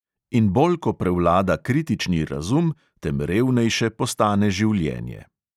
In bolj ko prevlada kritični razum, tem revnejše postane življenje.